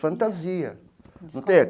Fantasia.